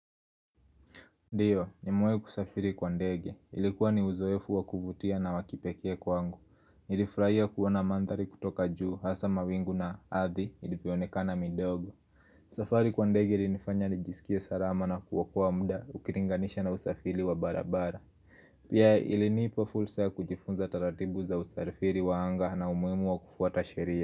Ndio, nimewahi kusafiri kwa ndege. Ilikuwa ni uzoefu wakuvutia na wakipekee kwangu. Nilifurahia kuona mandhari kutoka juu hasa mawingu na ardhi ilivyoonekana midogo. Safari kwa ndege ilinifanya nijisikie salama na kuokoa muda ukilinganisha na usafiri wa barabara. Pia ilinipa fursa ya kujifunza taratibu za usafiri wa anga na umuhimu wa kufuata sheria.